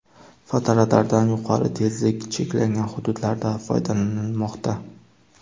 Fotoradardan yuqori tezlik cheklangan hududlarda foydalanilmoqda.